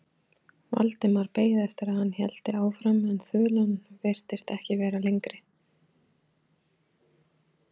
Valdimar beið eftir að hann héldi áfram en þulan virtist ekki vera lengri.